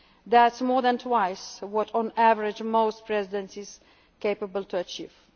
were concluded. That is more than twice what, on average, a Presidency is capable